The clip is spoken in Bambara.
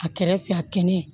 A kɛrɛ fɛ a kɛnɛ